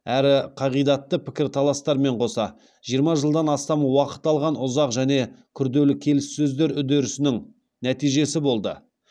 әрі қағидатты пікір таластармен қоса жиырма жылдан астам уақыт алған ұзақ және күрделі келіссөздер үдерісінің нәтижесі болды